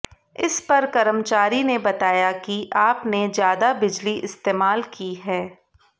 इस पर कर्मचारी ने बताया कि आप ने ज्यादा बिजली इस्तेमाल की है